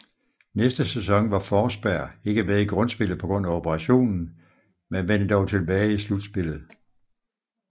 Næste sæson var Forsberg ikke med i grundspillet pga operationen men vendte dog tilbage i slutspillet